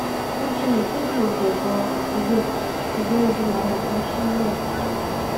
wọ́n ṣe ìkéde gbòngàn àdúgbò ṣùgbọ́n odi làwọn kàn sílẹ̀ pẹ̀lú